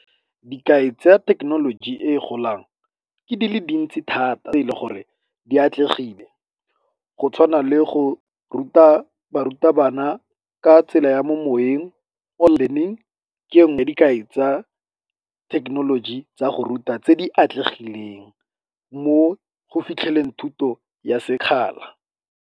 Dikai tsa ya thekenoloji e e golang ke di le dintsi thata tse e le gore di atlegile go tshwana le go ruta barutabana ka tsela ya mo moweng, learning, ke yone dikai tsa thekenoloji tsa go ruta tse di atlegileng mo go fitlheleleng thuto ya sekgala.